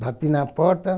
Bati na porta.